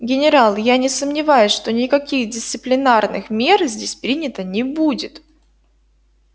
генерал я не сомневаюсь что никаких дисциплинарных мер здесь принято не будет